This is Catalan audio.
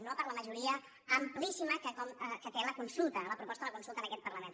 no per la majoria amplíssima que té la proposta de la consulta en aquest parlament